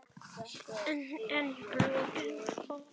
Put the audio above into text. Á ekki að vera meir.